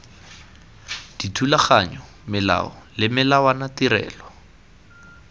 dithulaganyo melao le melawana tirelo